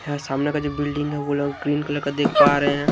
यहां सामने का जो बिल्डिंग है वो लोग ग्रीन कलर का देख पा रहे हैं।